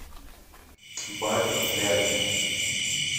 бафи рядом